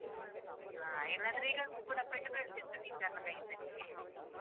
ಹಾ, ಇಲ್ಲದ್ರೆ ಈಗ ಕೂಡಾ ಪೆಟ್ಟು ಬೀಳ್ತಾ ಇತ್ತು teacher ನ ಕೈಯಿಂದ ನಿನ್ಗೆ.